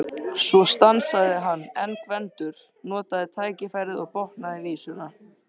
Svo stansaði hann en Gvendur notaði tækifærið og botnaði vísuna: